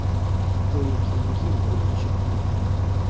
To‘y keyingi yil bo‘lib o‘tishi kutilmoqda.